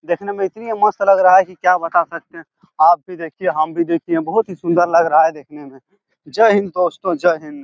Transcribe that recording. देखने में इतनी मस्त लग रहा की क्या बता सकते आप भी देखिए हम भी देखिए बहुत ही सुंदर लग रहा देखने में जय हिन्द दोस्तों जय हिन्द ।